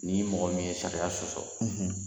Ni' mɔgɔ min ye sariya sɔsɔ